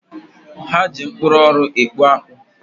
Ha ji mkpụrụ ọrụ ekpu akpu.